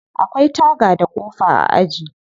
Akwai taga da kofa a aji.